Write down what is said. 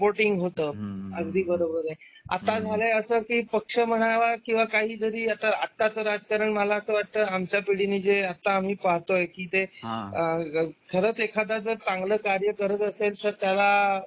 Supporting होतं अगदी बरोबर आहे. आता झालाय असं की पक्ष म्हणा किंवा काही तरी आता आताच राजकारण मला असं वाटतं आमच्या पिढीने जे आता आम्ही पाहतोय की ते आहेत. खरंच एखादा जर चांगला कार्य करत असेल तर त्याला